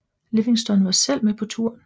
Livingston var selv med på turen